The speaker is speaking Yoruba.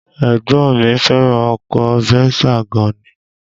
Ẹ̀gbọ́n mi fẹ́ràn ọkọ Venza gan ni